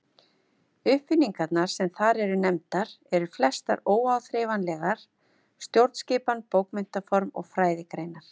Uppfinningarnar sem þar eru nefndar eru flestar óáþreifanlegar: stjórnskipan, bókmenntaform og fræðigreinar.